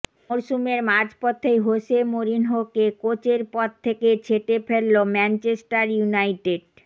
মরসুমের মাঝপথেই হোসে মোরিনহোকে কোচের পদ থেকে ছেঁটে ফেলল ম্যাঞ্চেস্টার ইউনাইটেড